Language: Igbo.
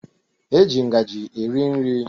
E ji ngaji eri nri